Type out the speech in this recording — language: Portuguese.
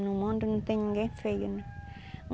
No mundo não tem ninguém feio, né?